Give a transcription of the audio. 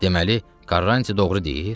Deməli, Karrantı doğru deyir?